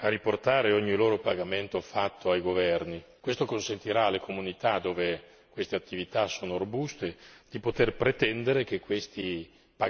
Questo consentirà alle comunità dove queste attività sono robuste di poter pretendere che questi pagamenti si traducano in azioni per lo sviluppo e per la crescita.